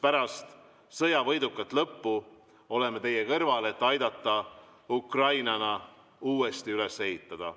Pärast sõja võidukat lõppu oleme teie kõrval, et aidata Ukraina uuesti üles ehitada.